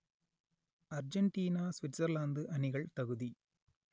Argentina Switzerland அணிகள் தகுதி